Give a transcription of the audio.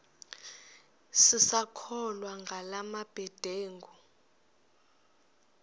sisakholwa ngala mabedengu